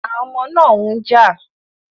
Àwọn ọmọ náà ń jà